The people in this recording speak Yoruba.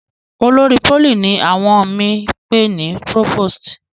olórí poly ní àwọn mi pe ní provost.